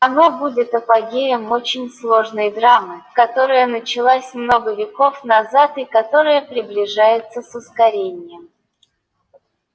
оно будет апогеем очень сложной драмы которая началась много веков назад и которая приближается с ускорением